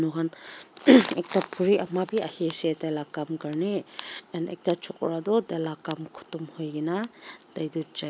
moikan ahheemm ekta buri ama beh ahi ase taila kam karni and ekta chokra toh tailaga kam kodom hoikina tai toh chai.